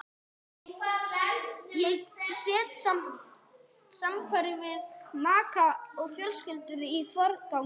Ég set samveru við maka og fjölskyldu í forgang.